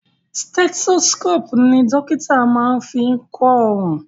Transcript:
Stethoscopu ní àwọn dókítà máa ń fí kọ ọrùn.